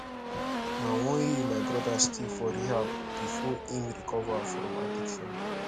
na one year my broda stay for rehab before im recover from addiction